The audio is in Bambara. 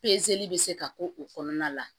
bɛ se ka k'o kɔnɔna la